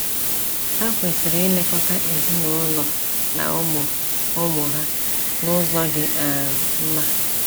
Ha kwesịrị ilekọta ezinaụlọ na ụmụ ụmụ ha “n’ụzọ dị um mma.”